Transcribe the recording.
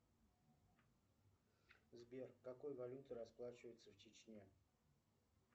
сбер какой валютой расплачиваются в чечне